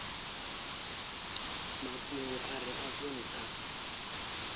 mafhungo a re afho ntha